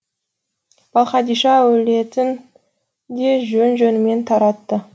балқадиша әулетін де жөн жөнімен таратты